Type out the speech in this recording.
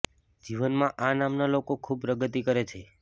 જીવનમાં આ નામના લોકો ખૂબ પ્રગતિ કરે છે